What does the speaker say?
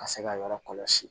Ka se ka yɔrɔ kɔlɔsi